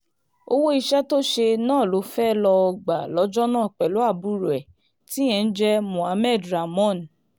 owó iṣẹ́ tó ṣe náà ló fẹ́ẹ́ lọ́ọ́ gbà lọ́jọ́ náà pẹ̀lú àbúrò ẹ̀ tíyẹn ń jẹ́ mohammed ramón